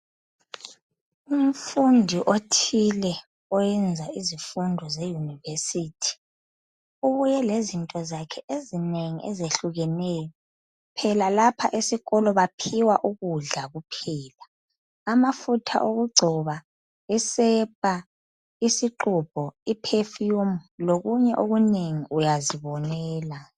Umfundi othile, oyenza izifundo ze university. Ubuye lezinto zakhe ezinengi ezehlukeneyo. Phela lapha esikolo, baphiwa ukudla kuphela. Amafutha okugcoba, isepa, isixubho, iperfume, lokunye okunengi. Uyazibonela!